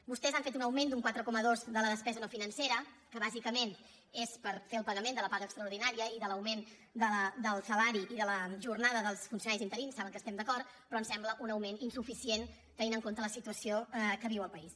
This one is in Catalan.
vostès han fet un augment d’un quatre coma dos de la despesa no financera que bàsicament és per fer el pagament de la paga extraordinària i de l’augment del salari i de la jornada dels funcionaris interins saben que hi estem d’acord però ens sembla un augment insuficient tenint en compte la situació que viu el país